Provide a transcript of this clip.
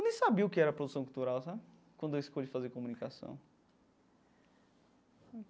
Eu nem sabia o que era produção cultural sabe quando eu escolhi fazer comunicação.